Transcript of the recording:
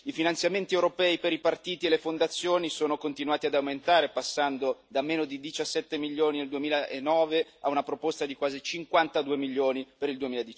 I finanziamenti europei per i partiti e le fondazioni sono continuati ad aumentare, passando da meno di 17 milioni nel 2009 a una proposta di quasi 52 milioni per il